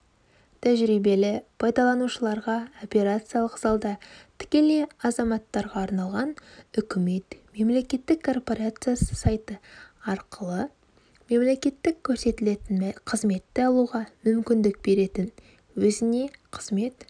тәжірибелі пайдаланушыларға операциялық залда тікелей азаматтарға арналған үкімет мемлекеттік корпорациясы сайты арқылы мемлекеттік көрсетілетін қызметті алуға мүмкіндік беретін өзіне қызмет